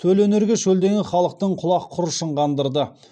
төл өнерге шөлдеген халықтың құлақ құрышын қандырды